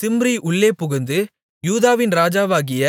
சிம்ரி உள்ளே புகுந்து யூதாவின் ராஜாவாகிய